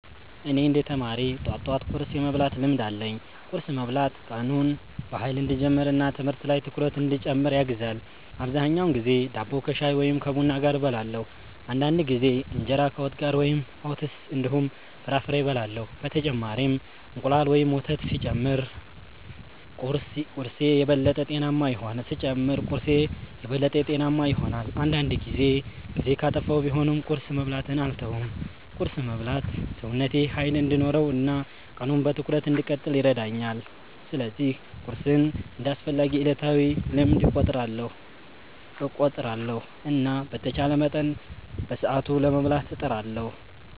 እኔ እንደ ተማሪ ጠዋት ጠዋት ቁርስ የመብላት ልምድ አለኝ። ቁርስ መብላት ቀኑን በኃይል እንዲጀምር እና ትምህርት ላይ ትኩረት እንዲጨምር ያግዛል። አብዛኛውን ጊዜ ዳቦ ከሻይ ወይም ከቡና ጋር እበላለሁ። አንዳንድ ጊዜ እንጀራ ከወጥ ጋር ወይም ኦትስ እንዲሁም ፍራፍሬ እበላለሁ። በተጨማሪም እንቁላል ወይም ወተት ሲጨመር ቁርስዬ የበለጠ ጤናማ ይሆናል። አንዳንድ ጊዜ ጊዜ ካጠፋሁ ቢሆንም ቁርስ መብላትን አልተውም። ቁርስ መብላት ሰውነቴ ኃይል እንዲኖረው እና ቀኑን በትኩረት እንድቀጥል ይረዳኛል። ስለዚህ ቁርስን እንደ አስፈላጊ ዕለታዊ ልምድ እቆጥራለሁ እና በተቻለ መጠን በሰዓቱ ለመብላት እጥራለሁ።